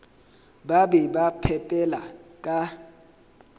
ba be ba phepela ka